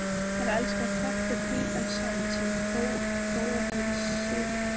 Þær elska klett og hvítan sand sem Króatinn sitt föðurland.